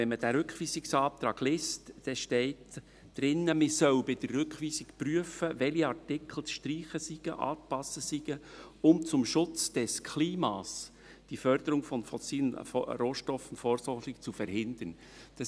Liest man diesen Rückweisungsantrag, so steht darin, man solle bei der Rückweisung prüfen, welche Artikel zu streichen oder anzupassen seien, um «zum Schutz des Klimas die Förderung von fossilen Rohstoffen vorsorglich zu verhindern.».